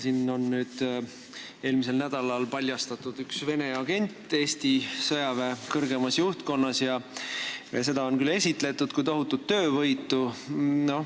Meil on eelmisel nädalal paljastatud üks Vene agent Eesti sõjaväe kõrgemas juhtkonnas ja seda on esitletud kui tohutut töövõitu.